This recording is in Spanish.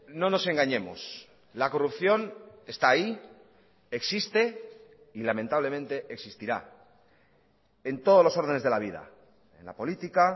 no nos engañemos la corrupción está ahí existe y lamentablemente existirá en todos los órdenes de la vida en la política